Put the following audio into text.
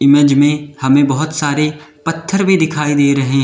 में हमें बहुत सारे पत्थर भी दिखाई दे रहे--